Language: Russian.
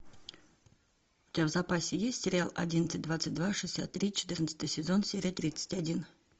у тебя в запасе есть сериал одиннадцать двадцать два шестьдесят три четырнадцатый сезон серия тридцать один